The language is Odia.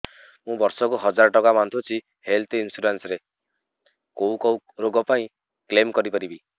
ମୁଁ ବର୍ଷ କୁ ହଜାର ଟଙ୍କା ବାନ୍ଧୁଛି ହେଲ୍ଥ ଇନ୍ସୁରାନ୍ସ ରେ କୋଉ କୋଉ ରୋଗ ପାଇଁ କ୍ଳେମ କରିପାରିବି